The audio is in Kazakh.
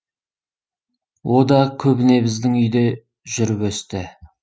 о да көбіне біздің үйде жүріп өсті